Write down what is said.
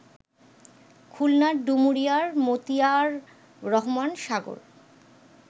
খুলনার ডুমুরিয়ার মতিয়ার রহমান সাগর